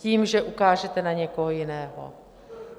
Tím, že ukážete na někoho jiného.